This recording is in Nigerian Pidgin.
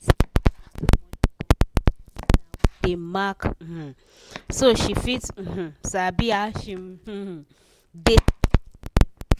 sarah divide e money for plenti container wey get mark um so she fit um sabi how she um dey spend money everyday.